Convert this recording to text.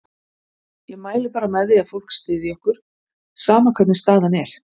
Ég mæli bara með því að fólk styðji okkur, sama hvernig staðan er.